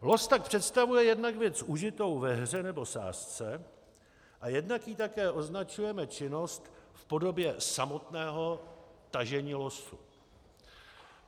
Los tak představuje jednak věc užitou ve hře nebo sázce a jednak jí také označujeme činnost v podobě samotného tažení losu.